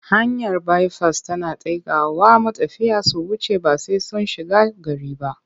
Hanyar baifas tana taikawa matafiya su wuce ba sai sun shiga gari ba.